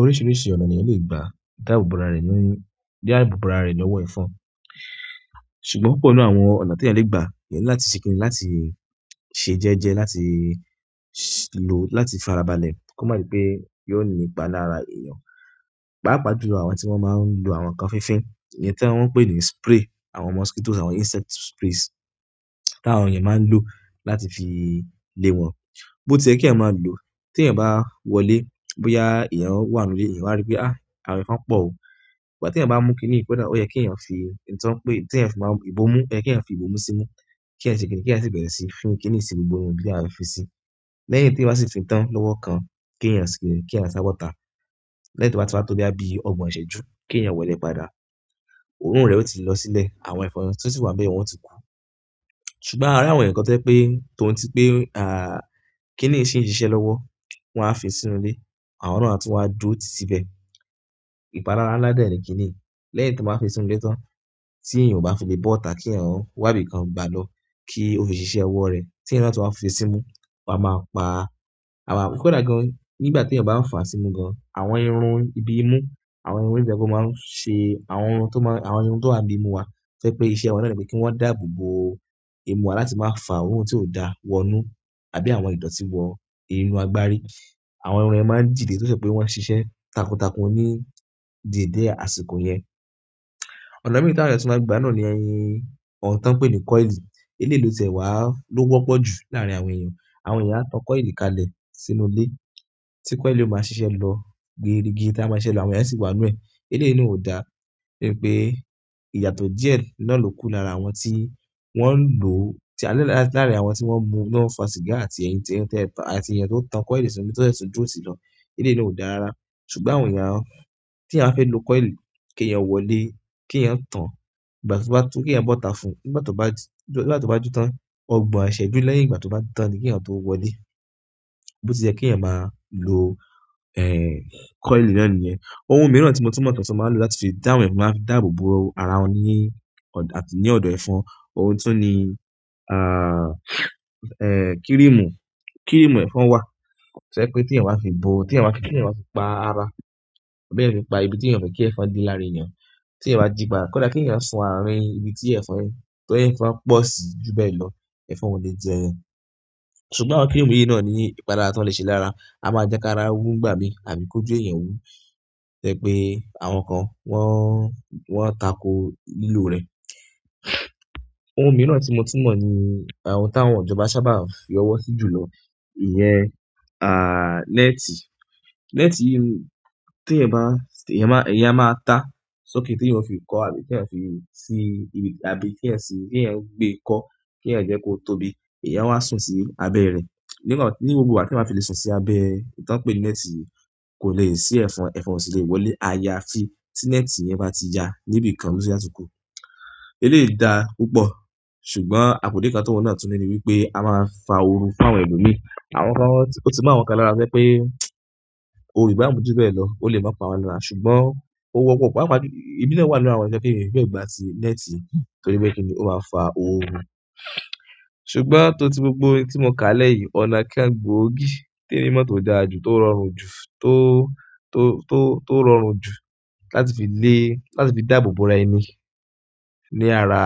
Oríṣiríṣi ọ̀nà ni ènìyàn le gbà dáàbò bo ara rẹ̀ ní ọwọ́ ẹ̀fọn. Ṣùgbọ́n púpọ̀ nínú àwọn ọ̀nà tí ènìyàn le gbà yẹ láti ṣikin láti ṣe jẹ́jẹ́ láti lo láti fara balẹ̀ kó má ṣe pé yóò ní ipa lára èèyàn. Páápàá jù àwọn tí wọ́n máa n lo àwọn nǹkan fínfín ní ẹ́ni tí wọ́n ń pè ní spray àwọn mosquitoes, àwọn insect sprays tí àwọn èèyàn máa n lò láti fi lé wọn. Bó tí ẹ kí ẹ máa lò, tí ẹ̀yin bá wọlé, bóyá èèyàn wà nínú ilé, ẹ̀yin wá rí pé, "á, àwọn ẹ̀fọn pọ̀ ó." Ṣùgbọ́n tí ẹ̀yin bá mú kiní pẹ́dà, ó yẹ kí ẹ̀yin fi ìtàn pé tí ẹ̀yin fi máa ibomu, yẹ kí ẹ̀yin fi ibomu sínú, kí ẹ ṣe kiní, kí ẹ sì bẹ̀rẹ̀ síí fín kiní sí gbogbo irun bí ààrùn fi sí. Lẹ́yìn tí ẹ bá ti fi tán lọ́wọ́ kan, kí ẹ̀yin ṣe kí ẹ̀yin sá bọ́ta. Lẹ́yìn tí ẹ bá ti wọlé bí i ọgbọ̀n ìṣẹ́jú, kí ẹ̀yan wọlé padà. Òórùn rẹ̀ ó ti lọ sílẹ̀, àwọn ẹ̀fọn tí ó sì wà bẹ́yọ̀ wọn ó ti pa. Ṣùgbọ́n a rí àwọn nǹkan tẹ́ pé, tòun tí pé, à, kíní sì ń ṣiṣẹ́ lọ́wọ́, wọ́n á fi sínú ilé, àwọn náà a tún wá dúró ti síbẹ̀. Ìpalára ńlá na ni kini yi, lẹ́yìn tí mo máa fi sínú ilé tán, tí èèyàn ò bá fi lè bọ́ta kí ẹ̀yan wá ibìkan gbálọ̀ kí ó fi ṣiṣẹ́ ọwọ́ rẹ̀ tí ẹ̀yin náà tó máa fi sínú, ó máa pa ara. Kódà gan nígbà tí ẹ̀yin ò bá fàá sínú gan, àwọn irun ibi imú, àwọn irun ìbẹ́pọ̀ máa ń ṣe àwọn ohun tó máa, àwọn irun tó wà bíi imú wa ṣé pé iṣẹ́ wọn náà ni pé kí wọ́n dàbò bo imú wa láti máa fà á orun tí ò dá wọnú àbí àwọn ìdọ̀tí wọ irunú agbárí. Àwọn irun ẹ́ máa n jìde tó ṣe pé wọ́n ṣiṣẹ́ takuntakun ní dìde àsìkò yẹn. Ọ̀nà mi ta awọ́ọ́ tí mo máa gbà náà ni ẹyin, ọ̀un tí wọ́n ń pè ní coil. Eléèyi lo tẹ̀wá ló wọ́pọ̀ jù láàrín àwọn èèyàn. Àwọn èèyàn á tan coil kalẹ̀ sínú ilé tí coil ó máa ṣiṣẹ́ lọ gbé igi tí a máa ṣe lọ, àwọn èèyàn sì wà nú ẹ. Eléèyàn náà ò dá, nítorí pé ìyàtọ̀ díẹ̀ lọ́lùú kù láàrín àwọn tí wọ́n ń lò, tí a lọ̀ láàrín àwọn tí wọ́n mú, tí wọ́n fà sìgá àti ẹ̀yin tí wọ́n ti pa àti ìyẹn tó tan coil sínú, tó ṣẹ́ sùn jó sí i lọ. Eléèyàn náà ò dára ra. Ṣùgbọ́n àwọn èèyàn tí a fẹ́ lo coil kí ẹ̀yin wọlé, kí ẹ̀yin tan ìgbà tí ó bá tú, kí ẹ̀yin bọ́ta fún un ìgbà tí ó bá, ìgbà tí ó bá tú tán. Ọgbọ̀n ìṣẹ́jú lẹ́yìn ìgbà tí ó bá tán ni kí ẹ̀yin tó wọlé. Bó ti jẹ́ kí ẹ̀yin máa lò, ẹ, coil náà níyẹn. Ohun mìíràn tí mo tún mọ̀ tí wọn máa ń lò láti fi dá àwọn ẹ̀fọn, máa ń fi dàbò bo ara wọ́n ní, àti ní ọ̀dọ̀ ẹ̀fọn, ohun tí ó ní, a, kíríìmù, kíríìmù ẹ̀fọn wà. Sẹ́ pé tí ẹ̀yin bá fi bo, tí ẹ̀yin bá kí kí ẹ̀yin máa fi pa ara, bí ẹ̀yin fi pa ibi tí ẹ̀yin fẹ́ kí ẹ̀fọn din lára èèyàn. Tí ẹ̀yin bá jìbàá, kódà kí ẹ̀yin sọn àárín ibi tí ẹ̀fọn, tí ẹ̀fọn pọ̀ sí jù bẹ́ẹ̀ lọ, ẹ̀fọn ò lè jẹ yan. Ṣùgbọ́n àwọn kíìmù yìí náà ní ìpadà tó lè ṣe lára. A máa jẹ́ ká ra òwú ń gbà mí àbí kó jó ìyẹ̀wù. Sẹ́ pé àwọn kan wọ́n, wọ́n tako lílò rẹ̀. Ohun mìíràn tí mo tún mọ̀ ni àwọn táwọn ijọ̀ba sábà fi ọwọ́ sí jùlọ, ìyẹn, à, néètì. Néètì yi tí ẹ̀yin bá, ẹ̀yin máa, ẹ̀yin á máa ta sọ́kẹ́tì tí ẹ̀yin ó fi kọ́ àbí tí ẹ̀yin ó fi sin ibi àbí kí ẹ̀yin fi, kí ẹ̀yin gbé kọ́, kí ẹ̀yin jẹ́ kó tóbi, ẹ̀yin a sún sí abẹ́ rẹ̀. Nígbà, ní gbogbo ìgbà tí a fi lè sùn sí abẹ́ ìtàn pé ni néètì kò lè ṣí ẹ̀fọn, ẹ̀fọn sì lè wọlé. Ayaa ti ti neeti yen bati ya nibikan ni àsìkò. Eléè dá púpọ̀, ṣùgbọ́n àpò dé kan tó wọ́n náà tún ní ni wípé a máa fà á òru fún àwọn ẹlòmíràn. Àwọn kan tí mo tún mọ̀ àwọn kan lára sẹ pé òrò ìgbà mú ju bẹ́ẹ̀ lọ, ó lè máa pa wa lára. Ṣùgbọ́n òun wọ́pọ̀ wọ́pọ̀, ẹ̀mina wà nínú àwọn ẹlẹ́sẹ̀ kí ìrìn lè gba ti néètì torí bẹ́ẹ̀ kí ni ó máa fà óru. Ṣùgbọ́n gbogbo ohun ti mo ka nile yi ọ̀nà kan gbogi ti emi mo to dára ju to rọrùn ju to rọrùn ju láti fi le láti fi dabobo ara ẹni ni ara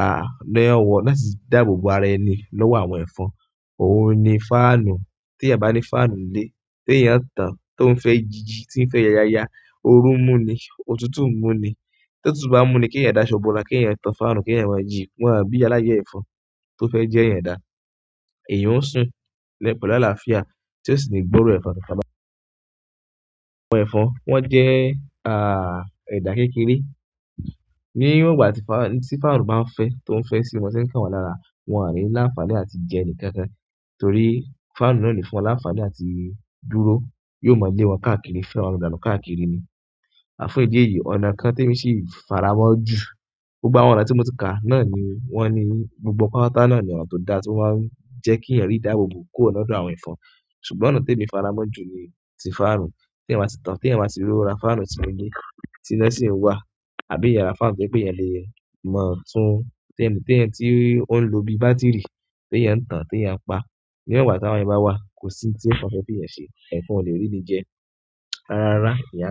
ni owo latifi dabobo ara ẹni ni owo efun. Ohun ni fáànù. Tí ẹ̀yin bá ní fáànù nílé, tí ẹ̀yin tán tó ń fẹ́ jíjí, tí ń fẹ́ yaya, òru ń mú ni, òtútù ń mú ni. Tí òtútù bá mú ni kí ẹ̀yin dáṣọ́ bò ó rá, kí ẹ̀yin tan fáànù kí ẹ̀yin wá jí. Wọ́n á bí aláyẹ̀ ẹ̀fọn tó fẹ́ jẹ́ ẹ̀yin dà. Èèyàn ó sùn lẹ́bàá láàlá fíà, tí ẹ sì ní gbọ́rọ̀ ẹ̀fọn kankan mo. Àwọn ẹ̀fọn wọ́n jẹ́, a, ẹ̀dà kékeré. Ní gbogbo ìgbà tí fáànù, tí fáànù bá ń fẹ́, tó ń fẹ́ sí wọn, sẹ́ ń kàn wọ́n lára, wọn á rí láfààní àti jẹ ẹni kankan. Torí fáànù náà lè fún wọn láfààní àti dúró. Yóò mọ̀ lẹ́ wọn káàkiri, fẹ́ àwọn ọ̀dà náà káàkiri ni. Àfún ìdí èyí, ọ̀nà kan tí èmi sì fara mọ́ jù gbogbo àwọn ọ̀nà tí mo ti kà náà ni wọ́n ni gbogbo kọ́wọ́tọ̀ náà ni ọ̀un tó da tí ó máa ń jẹ́ kí ẹ̀yin rí dàbò bo kó ọ̀nà tó àwọn ẹ̀fọn. Ṣùgbọ́n ọ̀nà tí èmi fara mọ́ jù ni ti fáànù. Tí ẹ̀yin máa sì tan, tí ẹ̀yin máa sì róra fáànù tí ẹ̀yin ní, tí ilẹ̀ sì ń wà, àbí ẹ̀yin ra fáànù pé pé ẹ̀yin lè mọ̀ tun, tí ẹ̀yin, tí ẹ̀yin ti ń lò bí bátìrì, tí ẹ̀yin ń tan, tí ẹ̀yin ń pa, ní ẹgbàá tí àwọn ẹni bá wá, kò sí tí ẹ̀fọn fẹ́ bí ẹ̀yin ṣe, ẹ̀fọn ò lè rí ni jẹ. Ara ara ẹ̀yàn.